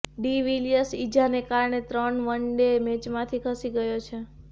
D Villiers ઇજાને કારણે ત્રણ વન ડે મેચમાંથી ખસી ગયો છે